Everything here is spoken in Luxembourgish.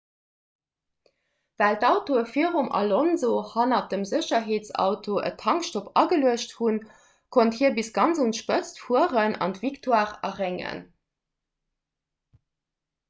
well d'autoe virum alonso hanner dem sécherheetsauto en tankstopp ageluecht hunn konnt hie bis ganz un d'spëtz fueren an d'victoire erréngen